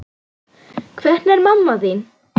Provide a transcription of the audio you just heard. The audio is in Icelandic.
Hvernig er mamma þín?